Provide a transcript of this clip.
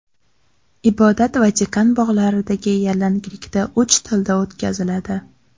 Ibodat Vatikan bog‘laridagi yalanglikda uch tilda o‘tkaziladi.